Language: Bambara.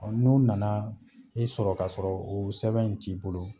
Ɔ N'u nana e sɔrɔ ka sɔrɔ o sɛbɛn in t'i bolo